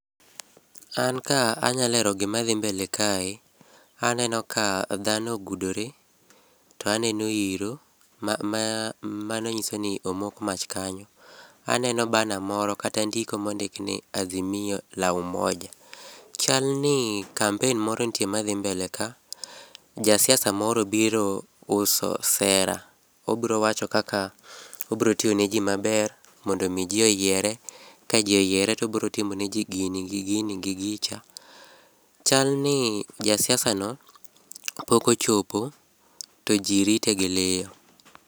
An ka anya lero gima dhi mbele kae, aneno ka dhano ogudore to aneno iro ma mano nyiso ni omok mach kanyo . Aneno banner moro kata ndiko mondik ni Azimio La Umoja. Chal ni kampen moro nitie madhi mbele ka, ja siasa moro obiro uso sera, obiro wacho kaka obiro tiyo ne jii maber mondo mi jii oyiere, ka jii oyiere to obiro timone jii gini, gi gini gi gicha. Chalni ja siasa no pok ochopo to jii rite gi liyo